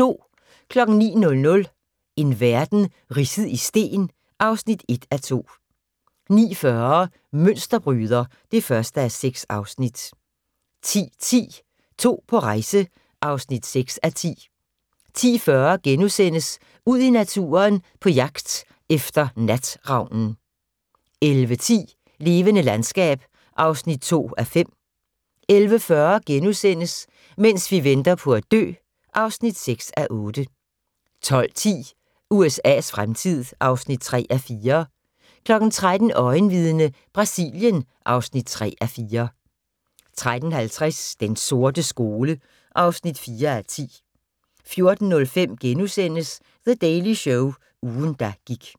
09:00: En verden ridset i sten (1:2) 09:40: Mønsterbryder (1:6) 10:10: To på rejse (6:10) 10:40: Ud i naturen: På jagt efter natravnen * 11:10: Levende landskab (2:5) 11:40: Mens vi venter på at dø (6:8)* 12:10: USA's fremtid (3:4) 13:00: Øjenvidne - Brasilien (3:4) 13:50: Den sorte skole (4:10) 14:05: The Daily Show – ugen der gik *